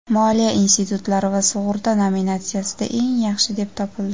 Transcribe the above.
moliya institutlari va sug‘urta nominatsiyasida eng yaxshi deb topildi.